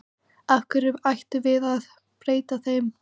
Af hverju ættum við að breyta þeim?